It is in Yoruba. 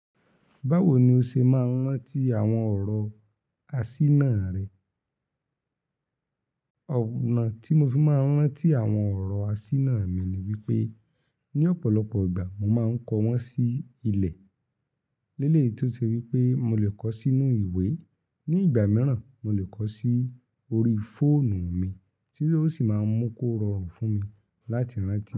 Báwo ni o ṣe máa ń rántí àwọn ọ̀rọ̀ asíná rẹ? Òna tí mo fi máa ń rántí àwọn ọ̀rọ̀ asíná mi ni wípé, ní ọ̀pọ̀lọpọ̀ ìgbà mo máa ń kọ wọ́n sí ilẹ̀. Léleyì èyí tó se wípé mo lè kọ sí inú ìwé. Ni ìgbà mìíràn, mo lè kọ sí orí fóònù mi tí yó sì máa ń mú kó rọrùn fún mi láti rántí.